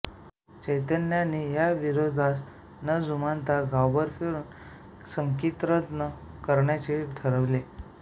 चैतन्यांनी या विरोधास न जुमानता गावभर फिरून संकीर्तन करण्याचे ठरविले